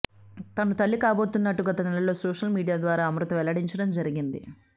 తను తల్లి కాబోతున్నట్టు గత నెలలో సోషల్ మీడియా ద్వారా అమృత వెల్లడించడం జరిగింది